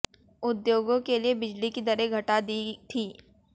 उद्योगों के लिए बिजली की दरें घटा दी थीं